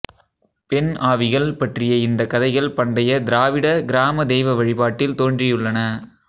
பெண் ஆவிகள் பற்றிய இந்த கதைகள் பண்டைய திராவிட கிராம தெய்வ வழிபாட்டில் தோன்றியுள்ளன